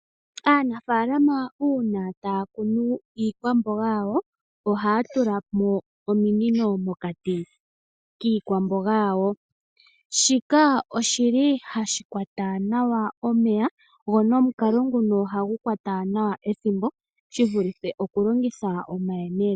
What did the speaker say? Aanafaalama uuna taya kunu iikwamboga yawo, ohaya tula mo ominino mokati kiikwamboga yawo. Shika oshi li hashi kwata nawa omeya go nomukalo nguno ohagu kwata nawa ethimbo shi vulithe oku longitha omayemele.